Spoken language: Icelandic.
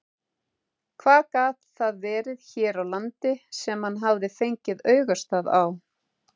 Hvað gat það verið hér á landi sem hann hafði fengið augastað á?